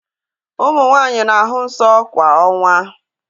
Ụmụ nwanyị na-ahụ nsọ kwa ọnwa